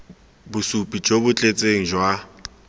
bosupi jo bo tletseng jwa